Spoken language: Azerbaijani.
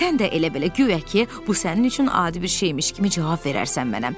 Sən də elə-belə, guya ki, bu sənin üçün adi bir şeymiş kimi cavab verərsən mənə.